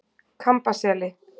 Kambaseli